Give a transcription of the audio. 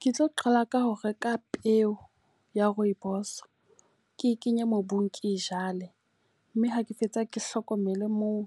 Ke tlo qala ka ho reka peo ya rooibos. Ke kenye mobung ke e jale. Mme ha ke fetsa ke hlokomele moo,